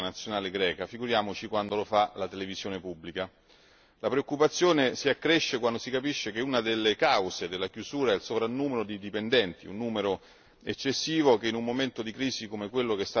La preoccupazione si accresce quando si capisce che una delle cause della chiusura è il sovrannumero di dipendenti, un numero eccessivo che in un momento di crisi come quello che sta attraversando la Grecia è evidentemente impossibile sostenere.